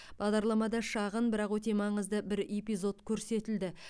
бағдарламада шағын бірақ өте маңызды бір эпизод көрсетілді